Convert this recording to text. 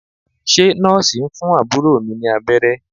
Ṣé Nọ́ọ̀sì ń fún àbúrò mi ní abẹ́rẹ́?